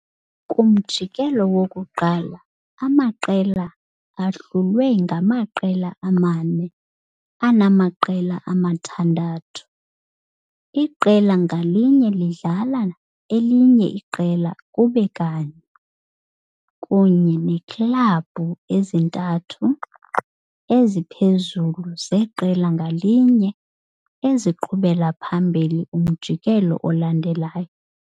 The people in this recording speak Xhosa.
Kumjikelo wokuqala, amaqela ahlulwe angamaqela amane anamaqela amathandathu, iqela ngalinye lidlala elinye kube kanye, kunye neeklabhu ezintathu eziphezulu zeqela ngalinye eziqhubela phambili kumjikelo olandelayo.